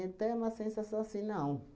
Até uma sensação assim, não.